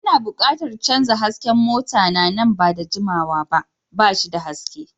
Ana buƙatar canza hasken mota na nan ba da jimawa ba, ba shi da haske.